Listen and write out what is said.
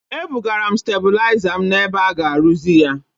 Ebugara m stabụlaịza m n’ebe a ga-arụzi ya.